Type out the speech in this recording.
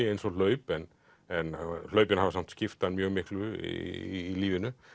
eins og hlaup en en hlaupin hafa samt skipt hann mjög miklu í lífinu